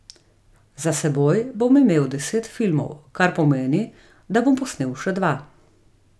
Za seboj bom imel deset filmov, kar pomeni, da bom posnel še dva.